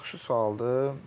Yaxşı sualdır.